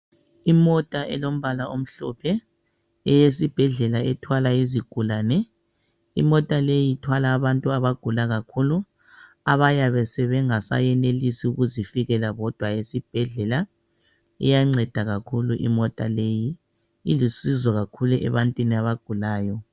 Imota elombala omhlophe eyesibhedlela ethwala izigulane, imota leyo ithwala abantu abagula kakhulu abayabe bengasayenelisa ukuzifikela bodwa esibhedlela. Iyanceda kakhulu imota leyi, ilusizo kakhulu ebantwini abagulayo